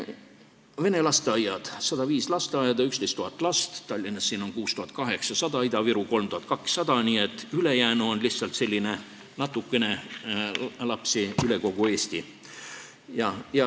Vene lasteaiad: 105 lasteaeda, 11 000 last, Tallinnas 6800, Ida-Virus 3200, nii et ülejäänu tähendab lihtsalt natukene lapsi üle kogu Eesti.